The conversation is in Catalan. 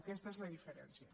aquesta és la diferència